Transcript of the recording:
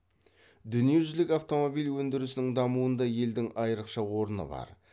дүниежүзілік автомобиль өндірісінің дамуында елдің айрықша орны бар